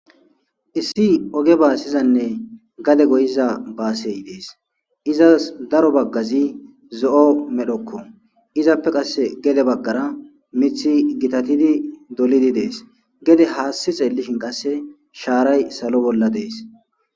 issi oge baasizanne gade goyiza baasey dees izas daro baggazi zo7o medhokko izappe qasse gede baggara mithi gitatidi dolidi dees gede haassi xeellishin qasse shaaray salo bolla dees